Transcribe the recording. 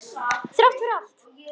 Þrátt fyrir allt.